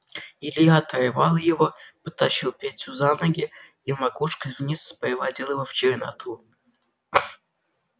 илья оторвал его подтащил петю за ноги и макушкой вниз спровадил его в черноту